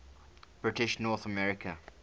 british north america